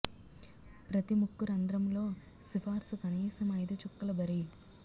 ప్రతి ముక్కు రంధ్రము లో సిఫార్సు కనీసం ఐదు చుక్కల బరీ